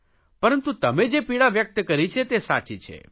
પરંતુ તમે જે પીડા વ્યકત કરી છે તે સાચી છે